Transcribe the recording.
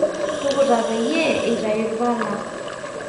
tukutaa peyie eitayu ilpala